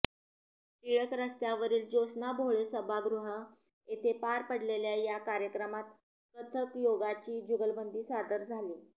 टिळक रस्त्यावरील ज्योत्स्ना भोळे सभागृह येथे पार पडलेल्या या कार्यक्रमात कथकयोगाची जुगलबंदी सादर झाली